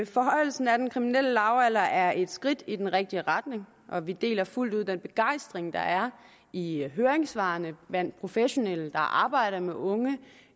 forhøjelsen af den kriminelle lavalder er et skridt i den rigtige retning og vi deler fuldt ud den begejstring der er i høringssvarene blandt professionelle der arbejder med unge